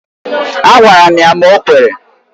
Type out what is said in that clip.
Agwara m ya ma o kwere.